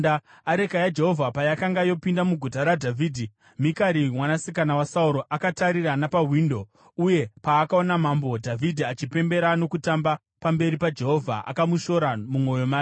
Areka yaJehovha payakanga yopinda muGuta raDhavhidhi, Mikari mwanasikana waSauro akatarira napawindo. Uye paakaona Mambo Dhavhidhi achipembera nokutamba pamberi paJehovha, akamushora mumwoyo make.